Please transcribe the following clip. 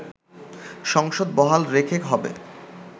সংসদ বহাল রেখে হবে